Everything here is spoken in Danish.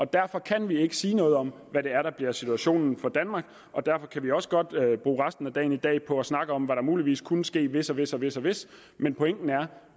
derfor kan vi ikke sige noget om hvad situationen bliver for danmark og derfor kan vi også godt bruge resten af dagen i dag på at snakke om hvad der muligvis kunne ske hvis og hvis og hvis hvis men pointen er at